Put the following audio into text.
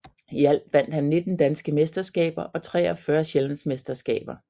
I alt vandt han 19 danske mesterskaber og 43 sjællandsmesterskaber